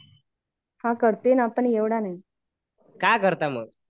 करते पण एवढा नाही